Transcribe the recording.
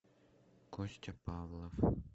костя павлов